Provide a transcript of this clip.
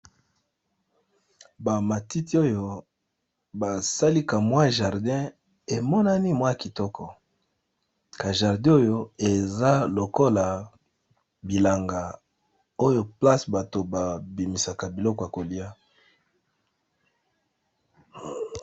Ba matiti oyo basali kamwa jardin emonani mwa kitoko, ka jardin oyo eza lokola bilanga oyo place bato babimisaka biloko ya koliya.